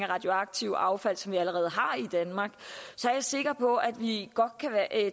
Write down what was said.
radioaktive affald som vi allerede har i danmark så er jeg sikker på at vi godt kan